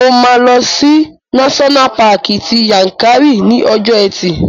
Mo máa lọ sí náṣọ́nà paàkì ti Yankari ní ọjọ́ ẹtì